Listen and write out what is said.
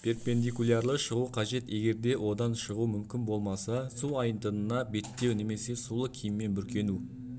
перпендикуларлы шығу қажет егерде одан шығу мүмкін болмаса су айдынына беттеу немесе сулы киіммен бүркену